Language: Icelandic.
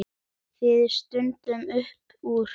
Það stendur upp úr.